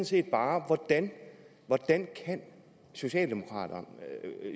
set bare hvordan socialdemokraterne